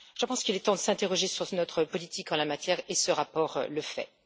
Je pense qu'il est temps de s'interroger sur notre politique en la matière et ce rapport le fait.